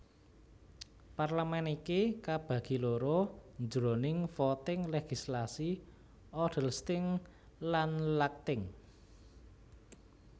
Parlemen iki kabagi loro jroning voting legislasi Odelsting lan Lagting